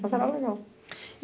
Mas era legal.